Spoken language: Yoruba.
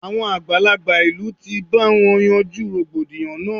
Àwọn àgbàlagbà ìlú ti bá wọn yanjú rògbòdìyàn náà.